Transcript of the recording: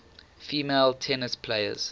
female tennis players